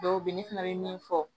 Dɔw bɛ yen ne fana bɛ min fɔ